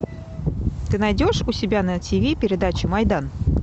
ты найдешь у себя на ти ви передачу майдан